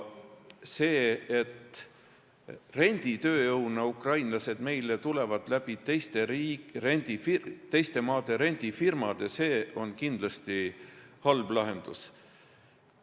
See, et meile tulevad teiste maade rendifirmade kaudu renditööjõuna ukrainlased, on kindlasti halb lahendus.